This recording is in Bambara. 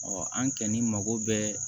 an kɛni mako bɛɛ